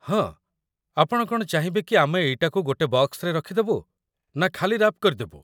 ହଁ, ଆପଣ କ'ଣ ଚାହିଁବେକି ଆମେ ଏଇଟାକୁ ଗୋଟେ ବକ୍ସରେ ରଖିଦେବୁ, ନା ଖାଲି ରାପ୍ କରିଦେବୁ ?